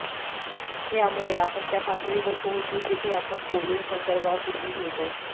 यामुळे आपण त्या पातळीवर पोहोचू जिथे आपण कोव्हिड संसर्गापूर्वी होतो